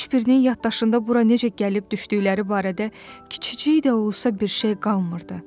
Heç birinin yaddaşında bura necə gəlib düşdükləri barədə kiçicik də olsa bir şey qalmırdı.